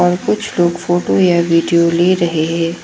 कुछ लोग फोटो या वीडियो ले रहे है।